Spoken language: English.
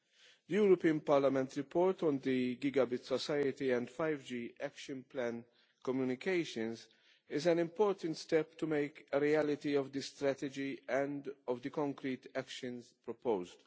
The European Parliament's report on the gigabyte society and 5G Action Plan communications is an important step to make a reality of the strategy and of the concrete actions proposed.